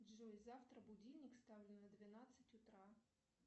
джой завтра будильник ставлю на двенадцать утра